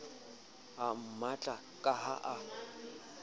a mmatla ka ha a